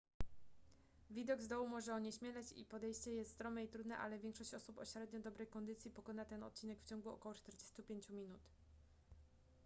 widok z dołu może onieśmielać i podejście jest strome i trudne ale większość osób o średnio dobrej kondycji pokona ten odcinek w ciągu około 45 minut